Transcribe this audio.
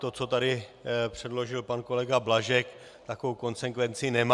To, co tu předložil pan kolega Blažek, takovou konsekvenci nemá.